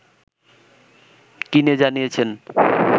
কিনে জানিয়েছেন